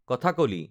Kathakali